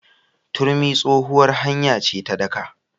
Turmi tsohuwar hanya ce ta daƙa.